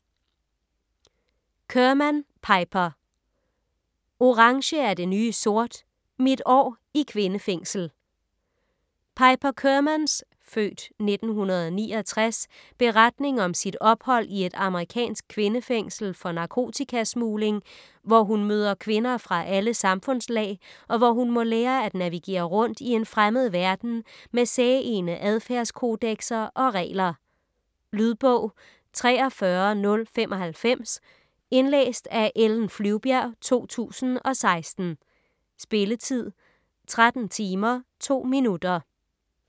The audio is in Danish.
Kerman, Piper: Orange er det nye sort: mit år i kvindefængsel Piper Kermans (f. 1969) beretning om sit ophold i et amerikansk kvindefængsel for narkotikasmugling, hvor hun møder kvinder fra alle samfundslag, og hvor hun må lære at navigere rundt i en fremmed verden med særegne adfærdskodekser og regler. Lydbog 43095 Indlæst af Ellen Flyvbjerg, 2016. Spilletid: 13 timer, 2 minutter.